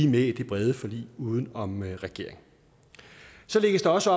med i det brede forlig uden om regeringen så lægges der også